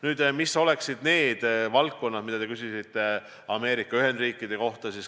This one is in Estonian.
Nüüd, millised oleksid need valdkonnad, mille kohta te küsisite, pidades silmas Ameerika Ühendriike.